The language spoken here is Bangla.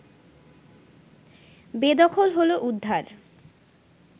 বেদখল হল উদ্ধার